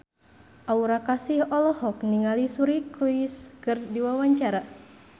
Aura Kasih olohok ningali Suri Cruise keur diwawancara